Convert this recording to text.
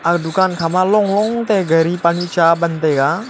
aga dukan khama long long tai ghari pani chaa ban taega.